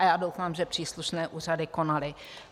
A já doufám, že příslušné úřady konaly.